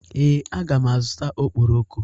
Ee, aga m azụta okporoko.